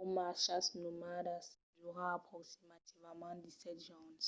o marchas nomadas dura aproximativament 17 jorns